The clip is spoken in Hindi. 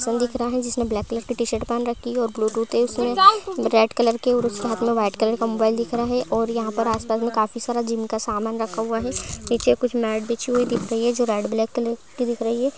सन दिख रहा है जिसने ब्लैक कलर की टी शर्ट पहन रखी है और ब्लूटूथ है उसमें रेड कलर की और उसके हाथ में व्हाइट कलर का मोबाईल दिख रहा है और यहाँ आस-पास में काफी सारे जिम का सामान रखा हुआ है नीचे कुछ मेट बिछी हुई दिख रही है जो रेड ब्लैक कलर की दिख रही है।